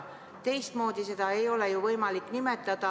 Teistmoodi ei ole ju võimalik seda nimetada.